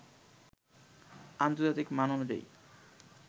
আন্তজার্তিক মান অনুযায়ী